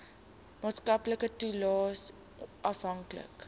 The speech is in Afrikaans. maatskaplike toelaes afhanklik